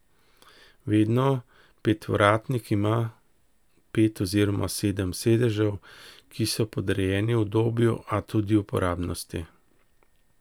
Vedno petvratnik ima pet oziroma sedem sedežev, ki so podrejeni udobju, a tudi uporabnosti.